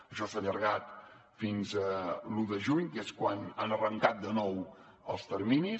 això s’ha allargat fins a l’un de juny que és quan han arrencat de nou els terminis